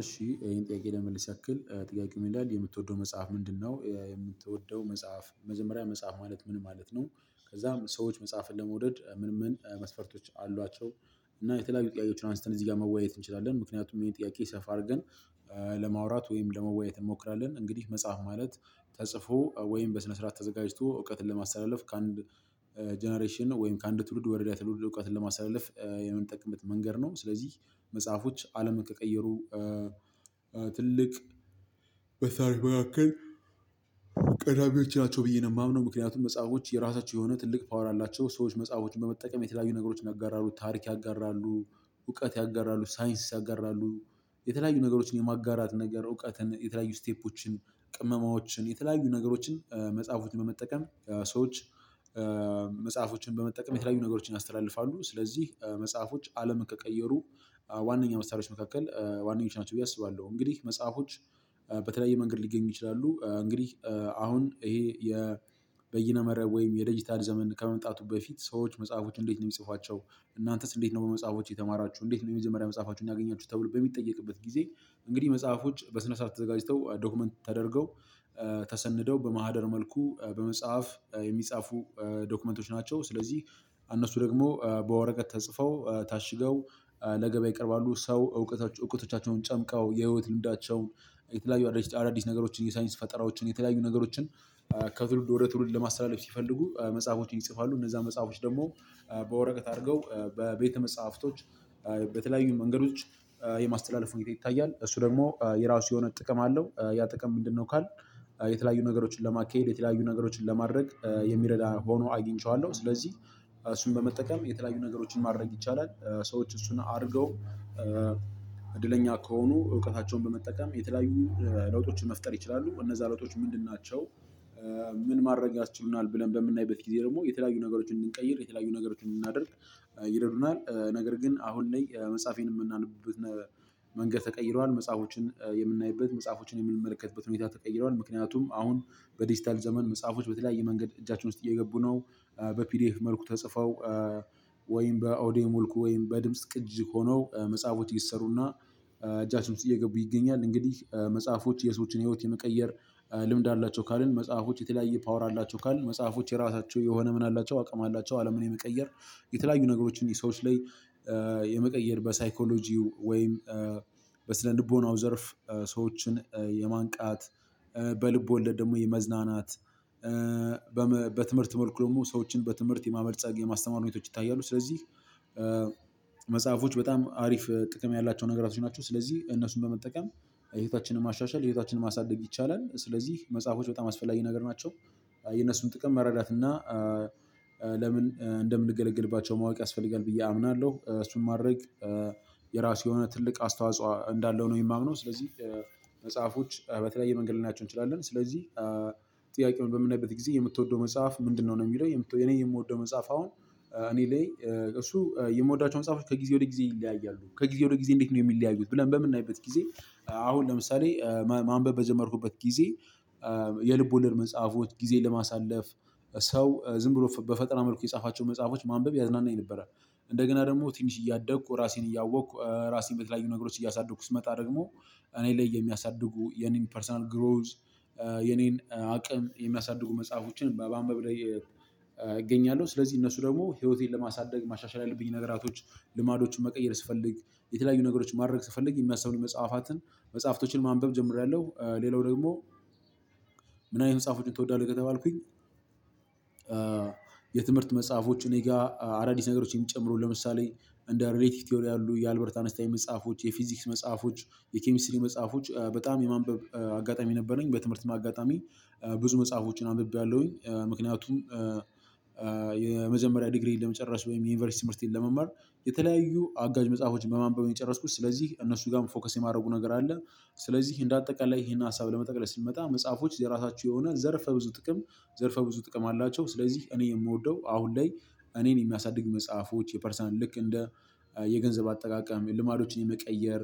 እሺ ይሄን ጥያቄ ለመመልስ ያክል ጥያቄው ምን ይላል የምትወደው መጽሐፍ ምንድነው? የምትወደው መጽሐፍ መጀመሪያ መጽሐፍ ማለት ምን ማለት ነው? ከዛም ሰዎች መጽሐፍን ለመውደድ ምን ምን መስፈርቶች አሏቸው። እና የተለያዩ ጥያቄዎችን አንስተን እዚህ ጋር መወያየት እንችላለን። ምክንያቱም ይሄን ጥያቄ ሰፋ አድርገን ለማውራት ወይም ለመወያየት እንሞክራለን። እንግዲህ መጽሐፍ ማለት ተጽፎ ወይም በስነ ስርዓት ተዘጋጅቶ እውቀትን ለማስተላለፍ ከአንድ ጀነሬሽን ወይም ከአንድ ትውልድ ወረዳ ትውልድ እውቀትን ለማስተላለፍ የምንጠቅምበት መንገድ ነው። ስለዚህ መጽሐፎች አለምን ከቀየሩ ትልቅ በታሪክ መካከል ቀዳሚዎች ናቸው ብዬ ነው የማምነው። ምክንያቱም መጽሐፎች የራሳቸው የሆነ ትልቅ ፓወር አላቸው። ሰዎች መጽሐፎች በመጠቀም የተለያዩ ነገሮች ያጋራሉ ታሪክ ያጋራሉ እውቀት ያጋራሉ ሳይንስ ያጋራሉ የተለያዩ ነገሮችን የማጋራት ነገር እውቀትን የተለያዩ ስቴፖችን ቅመማዎችን የተለያዩ ነገሮችን መጽሐፎችን በመጠቀም ሰዎች መጽሐፎችን በመጠቀም የተለያዩ ነገሮችን ያስተላልፋሉ። ስለዚህ መጽሐፎች አለምን ከቀየሩ ዋነኛ መሳሪያዎች መካከል ዋነኞች ናቸው ብዬ አስባለሁ። እንግዲህ መጽሐፎች በተለያየ መንገድ ሊገኙ ይችላሉ። እንግዲህ አሁን ይሄ የበይነ መረብ ወይም የዲጂታል ዘመን ከመምጣቱ በፊት ሰዎች መጽሐፎች እንዴት ነው የሚጽፏቸው? እናንተስ እንዴት ነው በመጽሐፎች የተማራችሁ እንዴት ነው የመጀመሪያ መጽሐፋችሁን ያገኛችሁ? ተብሎ በሚጠየቅበት ጊዜ እንግዲህ መጽሐፎች በስነ ስር ተዘጋጅተው ዶክመንት ተደርገው ተሰንደው በማህደር መልኩ በመጽሐፍ የሚጻፉ ዶክመንቶች ናቸው። ስለዚህ እነሱ ደግሞ በወረቀት ተጽፈው ታሽገው ለገበያ ይቀርባሉ። ሰው እውቀታቸውን እውቀቶቻቸውን ጨምቀው የህይወት ልምዳቸውን የተለያዩ አዳዲስ ነገሮችን የሳይንስ ፈጠራዎችን የተለያዩ ነገሮችን ከትውልድ ወደ ትውልድ ለማስተላለፍ ሲፈልጉ መጽሐፎችን ይጽፋሉ። እነዛ መጽሐፎች ደግሞ በወረቀት አድርገው በቤተ መጽሐፍቶች በተለያዩ መንገዶች የማስተላለፍ ሁኔታ ይታያል። እሱ ደግሞ የራሱ የሆነ ጥቅም አለው ያ ጥቅም ምንድነው? ካልን የተለያዩ ነገሮችን ለማካሄድ የተለያዩ ነገሮችን ለማድረግ የሚረዳ ሆኖ አግኝቼዋለሁ። ስለዚህ እሱን በመጠቀም የተለያዩ ነገሮችን ማድረግ ይቻላል። ሰዎች እሱን አድርገው እድለኛ ከሆኑ እውቀታቸውን በመጠቀም የተለያዩ ለውጦችን መፍጠር ይችላሉ። እነዛ ለውጦች ምንድን ናቸው? ምን ማድረግ ያስችሉናል ብለን በምናይበት ጊዜ ደግሞ የተለያዩ ነገሮችን እንድንቀይር የተለያዩ ነገሮችን እንድናደርግ? ይረዱናል። ነገር ግን አሁን እኔ መጽሐፌን የምናነቡበት ነገር መንገድ ተቀይሯል። መጽሐፎችን የምናይበት መጽሐፎችን የምንመለከትበት ሁኔታ ተቀይሯል። ምክንያቱም አሁን በዲጂታል ዘመን መጽሐፎች በተለያየ መንገድ እጃችን ውስጥ እየገቡ ነው። በፒዲኤፍ መልኩ ተጽፈው ወይም በኦድዮ መልኩ ወይም በድምጽ ቅጅ ሆነው መጽሐፎች እየተሰሩና እጃችን እየገቡ ይገኛል። እንግዲህ መጽሐፎች የሰዎችን ህይወት የመቀየር ልምድ አላቸው። ካልን መጽሐፎች የተለያየ ፓወር አላቸው ካልን መጽሐፎች የራሳቸው የሆነ ምን አላቸው አቅም አላቸው። አለምን የመቀየር የተለያዩ ነገሮችን ይሄ ሰዎች ላይ የመቀየር በሳይኮሎጂው ወይም በስነ ልቦናው ዘርፍ ሰዎችን የማንቃት በልቦለድ ደግሞ የመዝናናት በትምህርት መልኩ ደግሞ ሰዎችን በትምህርት የማበልጸግ የማስተማር ሁኔታዎች ይታያሉ። ስለዚህ መጽሐፎች በጣም አሪፍ ጥቅም ያላቸው ነገራቶች ናቸው። ስለዚህ እነሱን በመጠቀም ህይወታችንን ማሻሻል እህታችንን ማሳደግ ይቻላል። ስለዚህ መጽሐፎች በጣም አስፈላጊ ነገር ናቸው። የነሱን ጥቅም መረዳት እና ለምን እንደምንገለግልባቸው ማወቅ ያስፈልጋል። ብዬ አምናለሁ እሱን ማድረግ የራሱ የሆነ ትልቅ አስተዋጽኦ እንዳለው ነው የማምነው። ስለዚህ መጽሐፎች በተለያየ መንገድ ልናቸው እንችላለን። ስለዚህ ጥያቄውን በምንናይበት ጊዜ የምትወደው መጽሐፍ ምንድነው? ነው የሚለው የኔ የምወደው መጽሐፍ አሁን እኔ ላይ እሱ የምወዳቸውን መጽሐፎች ከጊዜ ወደ ጊዜ ይለያያሉ። ከጊዜ ወደ ጊዜ እንዴት ነው የሚለያዩት? ብለን በምናይበት ጊዜ አሁን ለምሳሌ ማንበብ በጀመርኩበት ጊዜ የልቦደር መጽሐፎች ጊዜ ለማሳለፍ ሰው ዝም ብሎ በፈጠራ መልኩ የጻፋቸው መጽሐፎች ማንበብ ያዝናናኝ። ነበረ እንደገና ደግሞ ትንሽ እያደኩ ራሴን እያወቅኩ ራሴን በተለያዩ ነገሮች እያሳደኩ ስመጣ ደግሞ እኔ ላይ የሚያሳድጉ የኔን ፐርሰናል ግሮዝ የኔን አቅም የሚያሳድጉ መጽሐፎችን በማንበብ ላይ እገኛለሁ። ስለዚህ እነሱ ደግሞ ህይወቴን ለማሳደግ ማሻሻል ያለብኝ ነገራቶች ልማዶችን መቀየር ስፈልግ የተለያዩ ነገሮችን ማድረግ ስፈልግ የሚያስብን መጽሐፋትን መጽሐፍቶችን ማንበብ ጀምሬያለሁ። ሌላው ደግሞ ምን አይነት መጽሐፎችን ትወዳለህ? ከተባልኩኝ የትምህርት መጽሐፎች እኔ ጋር አራዲስ ነገሮች የሚጨምሩ ለምሳሌ እንደ ሪሌቲክ ቲዮሪ አሉ የአልበርት አንስታይ መጽሐፎች የፊዚክስ መጽሐፎች የኬሚስትሪ መጽሐፎች በጣም የማንበብ አጋጣሚ ነበረኝ። በትምህርትም አጋጣሚ ብዙ መጽሐፎችን አንብቤያለሁኝ። ምክንያቱም የመጀመሪያ ዲግሪዬን ለመጨረስ ወይም የዩኒቨርሲቲ ትምህርቴን ለመማር የተለያዩ አጋዥ መጽሐፎችን በማንበብ ነው የጨረስኩት። ስለዚህ እነሱ ጋር ፎከስ የማድረጉ ነገር አለ። ስለዚህ እንደ አጠቃላይ ይሄን ሀሳብ ለመጠቅለል ስንመጣ መጽሐፎች የራሳቸው የሆነ ዘርፈ ብዙ ጥቅም ዘርፈ ብዙ ጥቅም አላቸው። ስለዚህ እኔ የምወደው አሁን ላይ እኔን የሚያሳድግ መጽሐፎች የፐርሰናል ልክ እንደ የገንዘብ አጠቃቀም የልማዶችን የመቀየር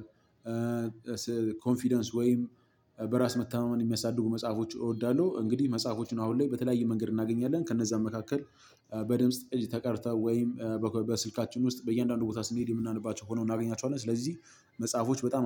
ኮንፊደንስ ወይም በራስ መተማመን የሚያሳድጉ መጽሐፎች እወዳለሁ። እንግዲህ መጽሐፎችን አሁን ላይ በተለያየ መንገድ እናገኛለን። ከነዛም መካከል በድምጽ ቅጅ ተቀድተው ወይም በስልካችን ውስጥ በእያንዳንዱ ቦታ ስንሄድ የምናነባቸው ሆነው እናገኛቸዋለን። ስለዚህ መጽሐፎች በጣም